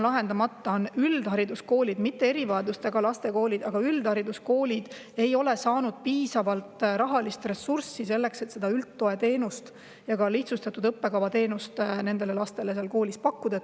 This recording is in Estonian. Lahendamata on see probleem, et üldhariduskoolid – mitte erivajadustega laste koolid, aga üldhariduskoolid – ei ole saanud piisavalt rahalist ressurssi selleks, et koolis üldtoe teenust ja ka lihtsustatud õppekava teenust nendele lastele pakkuda.